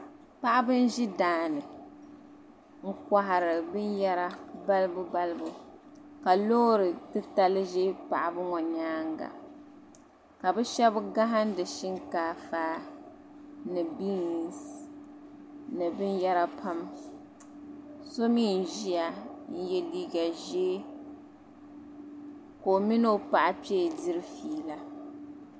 paɣaba n ʒi daani n kɔhiri bin yera balibu balibu ka loori titali ʒi paɣaba ŋɔ nyaaga ka bɛ shɛb gahindi shinkaafa ni biinsi ni biyera pam so mi n ʒia n ye liiga ka o mini o paɣa kpee diri fiila